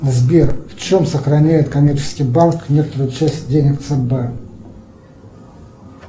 сбер в чем сохраняет коммерческий банк некоторую часть денег цб